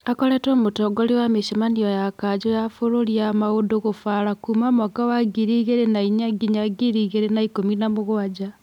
Akoretwo mũtongoria wa mĩcemanio ya kanjũ ya bũrũri ya maũndũ gũbaara kuuma mwaka wa ngirĩ igĩrĩ na inya nginya ngirĩ igĩrĩ na ikũmi na mũgwanja.